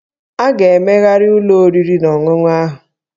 A ga-emegharị ụlọ oriri na ọṅụṅụ ahụ